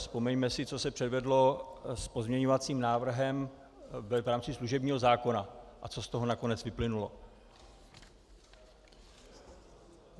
Vzpomeňme si, co se předvedlo s pozměňovacím návrhem v rámci služebního zákona a co z toho nakonec vyplynulo.